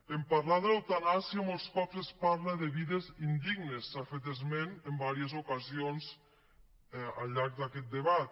en parlar d’eutanàsia molts cops es parla de vides indignes se n’ha fet esment en diverses ocasions al llarg d’aquest debat